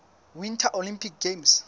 winter olympic games